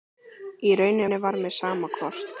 Í rauninni var mér sama hvort